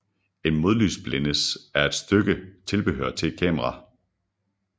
En modlysblændes er et stykke tilbehør til et kamera